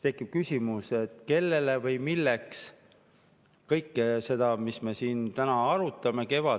Tekib küsimus, kellele või milleks kõike seda, mis me siin täna arutame,.